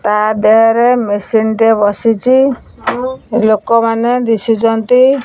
ତା ଦେହରେ ମେସିନ୍ ଟିଏ ବସିଚି ଲୋକ ମାନେ ଦିଶୁଚନ୍ତି।